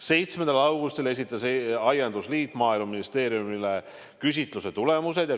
7. augustil esitas aiandusliit Maaeluministeeriumile küsitluse tulemused.